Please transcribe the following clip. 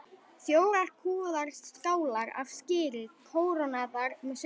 Fjórar kúfaðar skálar af skyri kórónaðar með sultu.